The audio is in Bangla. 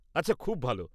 আচ্ছা, খুব ভালো।